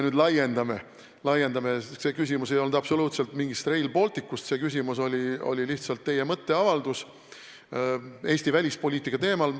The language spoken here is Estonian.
Aga teie küsimus ei olnud absoluutselt Rail Balticu kohta, see oli lihtsalt teie mõtteavaldus Eesti välispoliitika teemal.